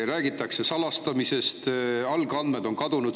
Räägitakse salastamisest, algandmed on kadunud.